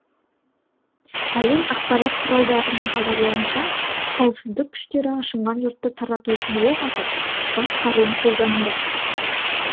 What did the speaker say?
әлем ақпарат құралдарының хабарлауынша қауіпсіздік күштері ашынған жұртты тарату үшін оқ атып газ қаруын қолданды